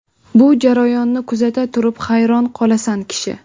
Bu jarayonni kuzata turib, hayron qolasan kishi.